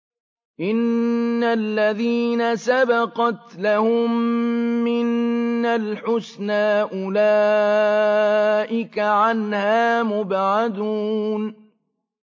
إِنَّ الَّذِينَ سَبَقَتْ لَهُم مِّنَّا الْحُسْنَىٰ أُولَٰئِكَ عَنْهَا مُبْعَدُونَ